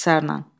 İxtisarla.